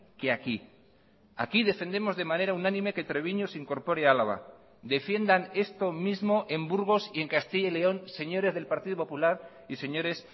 que aquí aquí defendemos de manera unánime que treviño se incorpore a álava defiendan esto mismo en burgos y en castilla y león señores del partido popular y señores